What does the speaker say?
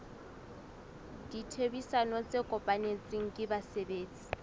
ditherisano tse kopanetsweng ke basebetsi